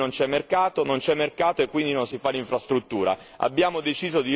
Non c'è infrastruttura e quindi non c'è mercato, non c'è mercato e quindi non si fa l'infrastruttura.